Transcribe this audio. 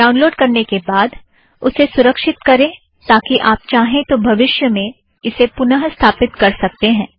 download करने के बाद उसे सुरक्षित करें ताकि आप चाहें तो भविष्य में इसे पुनः स्थापित कर सकते हैं